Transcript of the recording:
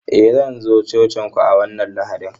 Eh, zan zo cocin ku a wannan Lahadin.